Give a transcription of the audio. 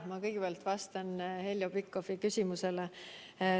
Ma kõigepealt vastan Heljo Pikhofi küsimusele.